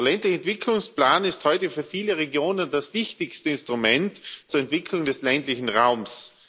Der ländliche Entwicklungsplan ist heute für viele Regionen das wichtigste Instrument zur Entwicklung des ländlichen Raums.